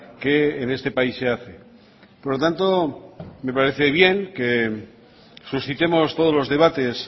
que en este país se hace por lo tanto me parece bien que suscitemos todos los debates